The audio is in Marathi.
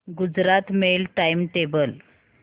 Gujarat mail time table